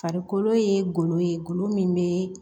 Farikolo ye golo ye golo min be